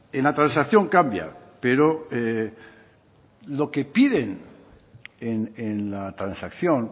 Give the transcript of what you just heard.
en la transacción cambia pero lo que piden en la transacción